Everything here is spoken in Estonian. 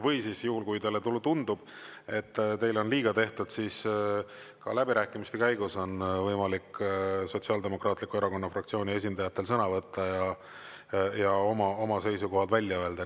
Või siis juhul, kui teile tundub, et teile on liiga tehtud, siis ka läbirääkimiste käigus on võimalik Sotsiaaldemokraatliku Erakonna fraktsiooni esindajatel sõna võtta ja oma oma seisukohad välja öelda.